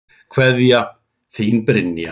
Kveðja, þín Brynja.